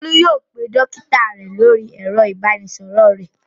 Olú yóò pe dọ́kítá rẹ̀ lórí ẹ̀rọ-ìbánisọ̀rọ̀ rẹ̀.